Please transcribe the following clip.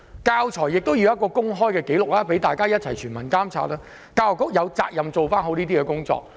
教材亦要有公開紀錄，讓全民一同監察，而教育局有責任做好相關工作。